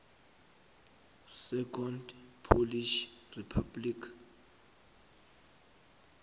second polish republic